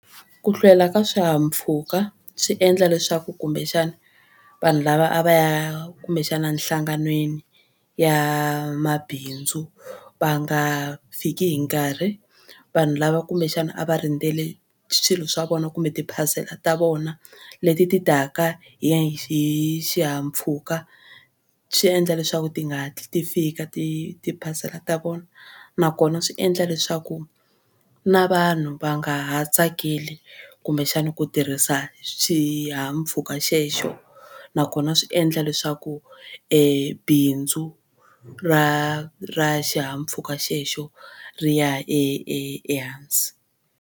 Ku hlwela ka swihahampfhuka swi endla leswaku kumbexana vanhu lava a va ya kumbexana nhlanganweni ya mabindzu va nga fiki hi nkarhi. Vanhu lava kumbexana a va rindzele swilo swa vona kumbe tiphasela ta vona leti ti taka hi hi xihahampfhuka swi endla leswaku ti nga hatli ti fika ti tiphasela ta vona nakona swi endla leswaku na vanhu va nga ha tsakeli kumbexana ku tirhisa xihahampfhuka xexo nakona swi endla leswaku bindzu ra ra xihahampfhuka xexo ri ya e e ehansi.